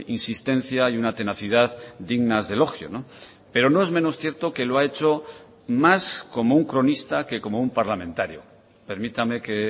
insistencia y una tenacidad dignas de elogio pero no es menos cierto que lo ha hecho más como un cronista que como un parlamentario permítame que